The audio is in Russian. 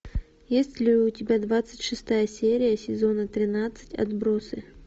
есть ли у тебя двадцать шестая серия сезона тринадцать отбросы